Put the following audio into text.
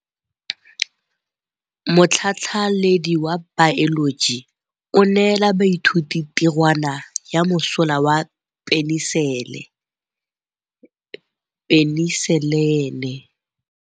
Motlhatlhaledi wa baeloji o neela baithuti tirwana ya mosola wa peniselene.